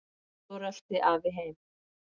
Svo rölti afi heim.